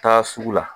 Taa sugu la